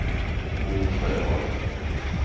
Bo Sjöholm